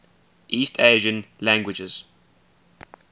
east asian languages